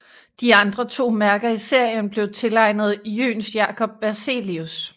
De andre to mærker i serien blev tilegnet Jöns Jacob Berzelius